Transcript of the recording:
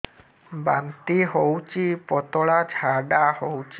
ବାନ୍ତି ହଉଚି ପତଳା ଝାଡା ହଉଚି